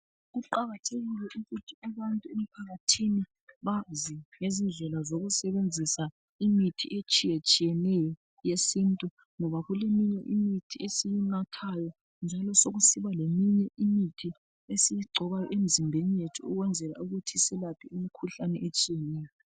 Kuqakathekile ukuthi abantu emphakathini bazi ngezindlela zokusebenzisa imithi etshiyetshiyeneyo yesintu, ngoba kuleminye imithi esiyinathayo , njalo sokusiba leminye imithi esiyingcoba emzimbeni yethu ukuzenzela ukuthi selaphe imikhuhlane etshiyeneyo.